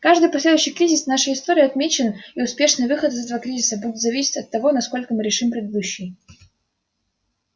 каждый последующий кризис в нашей истории отмечен и успешный выход из этого кризиса будет зависеть от того насколько мы решим предыдущий